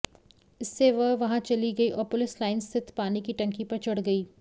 इससे वे वहां चली गईं और पुलिस लाइन स्थित पानी की टंकी पर चढ़ गईं